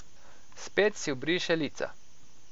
Spet si obriše lica.